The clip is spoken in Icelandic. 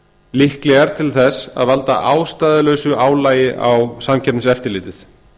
líklegar til þess að valda ástæðulausu álagi á samkeppniseftirlitið